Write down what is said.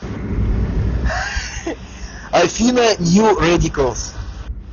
афина нью рэдикалс